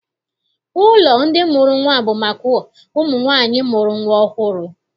Ụlọ ndị mụrụ nnwa bụ maka ụmụ nwaanyị mụrụ nnwa ọhụrụ.